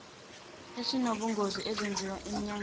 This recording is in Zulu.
esinobungozi ezenziwa emnyangweni